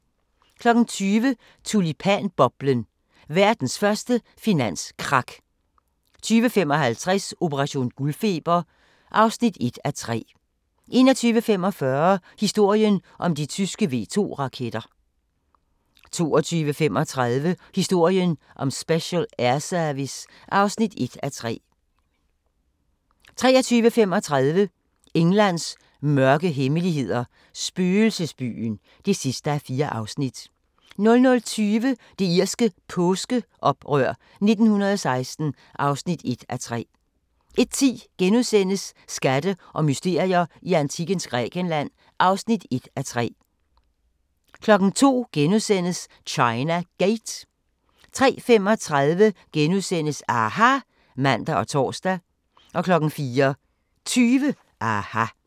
20:00: Tulipanboblen – verdens første finanskrak 20:55: Operation guldfeber (1:3) 21:45: Historien om de tyske V2-raketter 22:35: Historien om Special Air Service (1:3) 23:35: Englands mørke hemmeligheder – spøgelsesbyen (4:4) 00:20: Det irske påskeoprør 1916 (1:3) 01:10: Skatte og mysterier i antikkens Grækenland (1:3)* 02:00: China Gate * 03:35: aHA! *(man og tor) 04:20: aHA!